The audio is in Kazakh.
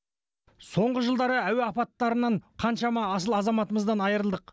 соңғы жылдары әуе апаттарынан қаншама асыл азаматымыздан айырылдық